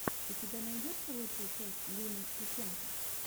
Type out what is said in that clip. у тебя найдется лучшая часть лины китенко